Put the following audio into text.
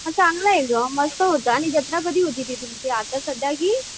हां चांगलं आहे गं मस्त होतं आणि जत्रा कधी होती तुमची? ती आता सध्या की